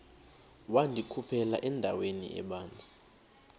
wandikhuphela endaweni ebanzi